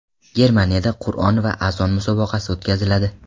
Germaniyada Qur’on va azon musobaqasi o‘tkaziladi.